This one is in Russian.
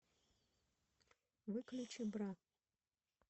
выключи бра